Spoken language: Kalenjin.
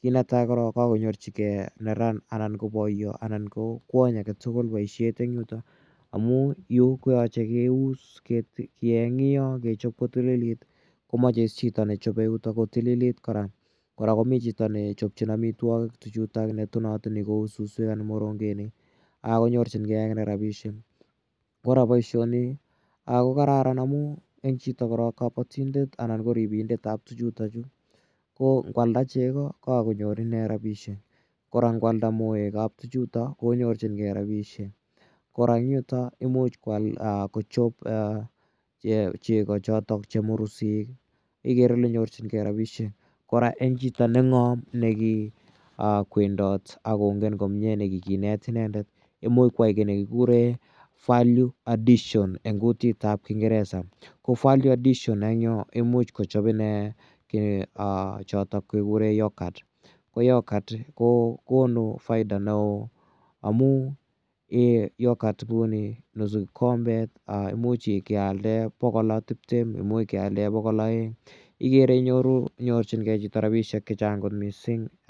kit netai korok ko kakonyorchigei neran anan ko poyo anan ko kwonny age tugul poishet en yutok amu yu ko yache keus, keng'ei kechop kotililit ko mache chito ne chope yutok ko tililit kora. Kora ko mi chito ne chopchin amitwogik tuchutak ne tonatoni suswek anan ko morongenik ko nyorchingei akine rapishek. Kora poishoni ko kararan amun eng' chito korok kapatindet anan ko ripindet ap tuchutachu ko ngoalda cheko ko kakonyor ine rapishek. Kora ngo alda moek ap tuchutak ko nyorchingei rapishek. Kora eng' yutok imuch kochop cheko chotok che mursik ikere ile nyorchingei rapishek. Kora eng' chito neng'am ako kikowendat ak kongen komye, kikinet inendet imuch koyai ki ne kikure value addition eng' kutit ap kingeresa. Ko value addition eng' yu imuch kochop ine ki ne chotok kikure yogurt. Ko yogurt ko konu faida ne oo amu ee yogurt kou ni nusu kikombet ko imuch kealdae pokol tiptem ,imuch kealdae pokol aeng' ikere ile inyoru , nyorchingei chito rapishek che chang' missing'.